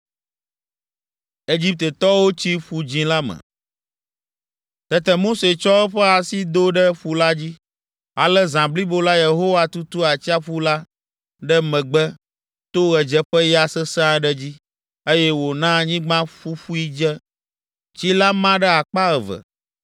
Tete Mose tsɔ eƒe asi do ɖe ƒu la dzi. Ale zã blibo la Yehowa tutu atsiaƒu la ɖe megbe to ɣedzeƒeya sesẽ aɖe dzi, eye wòna anyigba ƒuƒui dze. Tsi la ma ɖe akpa eve,